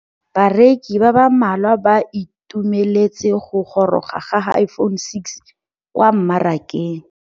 Bareki ba ba malwa ba ituemeletse go gôrôga ga Iphone6 kwa mmarakeng.